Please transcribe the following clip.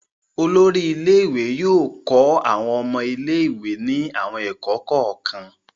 Olórí ilé-ìwé yóò kọ́ àwọn ọmọ ilé-ìwé ní àwọn ẹ̀kọ́ kọ̀ọ̀kan.